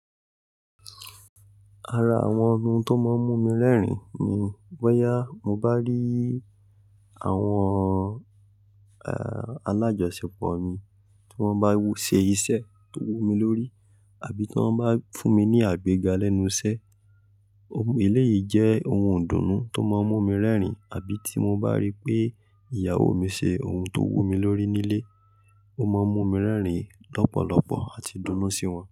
Ara àwọn ohun tó máa ń mú mi rẹ́rìn-ín ni bọ́yá mo bá rí àwọn, alájọṣepọ̀ mi tí wọ́n bá w-- ṣe iṣẹ́ tó wú mi lórí àbí tí wọ́n bá fún mi ní àgbéga lẹ́nu iṣẹ́. Eléyìí jẹ́ ohun ìdùnnú tó máa ń mú mi rẹ́rìn-ín àbí tí mo bá rí pé ìyàwó mi ṣe ohun tó wú mi lórí nílé ó máa ń mú mi rẹ́rìn-ín lọ́pọ̀lọpọ̀ àti dunnú sí wọn.